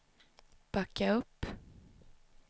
backa upp